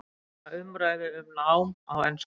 Fagna umræðu um nám á ensku